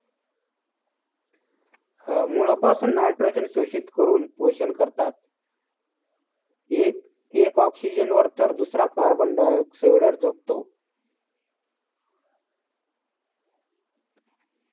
मुळापासून nitrogen शोषित करून पोषण करतात. एक एक oxygen वर तर दुसरा carbon dioxide वर जगतो.